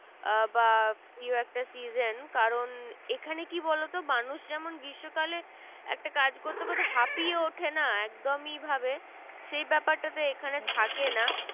বা প্রিয় একটা season কারণ এখানে কি বোলো তো? মানুষ যেমন গ্রীষ্মকালে একটা কাজ করতে করতে হাফিয়ে ওঠে না একদমই ভাবে? সেই ব্যাপারটা তে এখানে থাকে না।